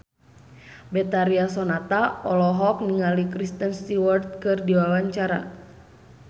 Betharia Sonata olohok ningali Kristen Stewart keur diwawancara